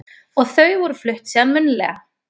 Og þau voru flutt síðan munnlega